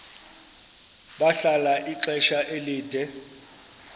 bahlala ixesha elide